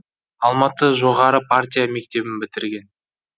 алматы жоғары партия мектебін бітірген